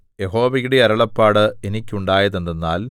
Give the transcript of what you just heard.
യഹോവയുടെ അരുളപ്പാട് എനിക്കുണ്ടായതെന്തെന്നാൽ